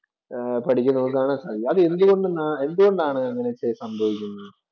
പഠിക്കുന്നവര്‍ക്ക് ആണ്. എന്നാണ് അങ്ങനെയൊക്കെ സംഭവിക്കുന്നത്.